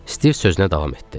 Stiv sözünə davam etdi.